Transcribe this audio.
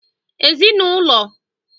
Ezinụlọ